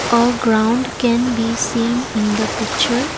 a ground can be seen in the picture.